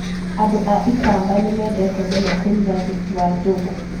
Andũ a ikamba nĩ mendete mũno kũruga thubu wa njũgũ.